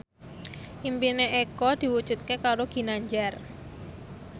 impine Eko diwujudke karo Ginanjar